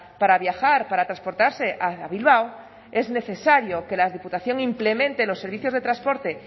para viajar para transportarse a bilbao es necesario que la diputación implemente los servicios de transporte